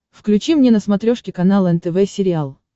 включи мне на смотрешке канал нтв сериал